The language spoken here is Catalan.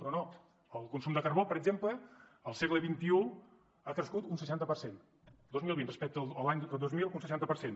però no el consum de carbó per exemple al segle xxi ha crescut un seixanta per cent el dos mil vint respecte a l’any dos mil un seixanta per cent